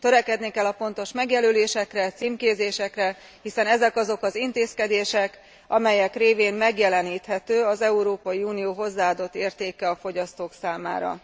Törekedni kell a pontos megjelölésekre, címkézésekre, hiszen ezek azok az intézkedések, amelyek révén megjeleníthető az Európai Unió hozzáadott értéke a fogyasztók számára.